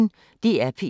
DR P1